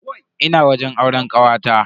Ina wajen auren kawata.